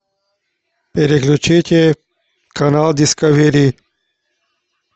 переключите канал дискавери